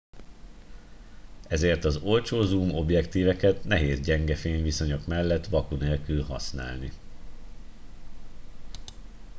ezért az olcsó zoom objektíveket nehéz gyenge fényviszonyok mellett vaku nélkül használni